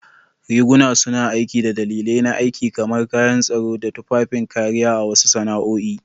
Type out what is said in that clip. Riguna suna aiki da dalilai na aiki, kamar kayan tsaro ko tufafin kariya a wasu sana'o'i.